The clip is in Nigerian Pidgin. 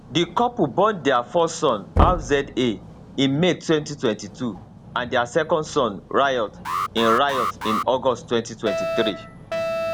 di couple born dia first son rza in may 2022 and dia second son riot in riot in august 2023